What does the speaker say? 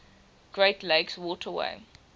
great lakes waterway